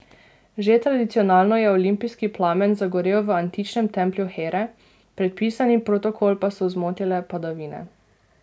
Že tradicionalno je olimpijski plamen zagorel v antičnem templju Here, predpisani protokol pa so zmotile padavine.